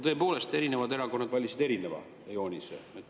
Tõepoolest, erinevad erakonnad valisid erineva joonise.